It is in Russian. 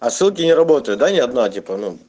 а ссылки не работают да ни одна типо ну